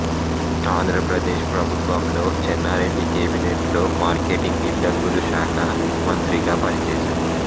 ఆంధ్రప్రదేశ్ ప్రభుత్వంలో చెన్నారెడ్డి కెబినెట్ లో మార్కెటింగ్ గిడ్డంగులు శాఖ మంత్రిగా పని చేసాడు